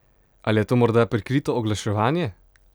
Ali je to morda prikrito oglaševanje?